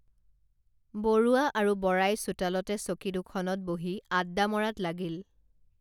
বৰুৱা আৰু বৰাই চোতালতে চকী দুখনত বহি আড্ডা মৰাত লাগিল